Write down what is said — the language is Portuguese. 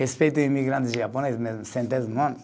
Respeita o imigrantes japonês, mesmo centésimo ano